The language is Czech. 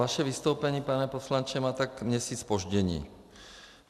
Vaše vystoupení, pane poslanče, má tak měsíc zpoždění.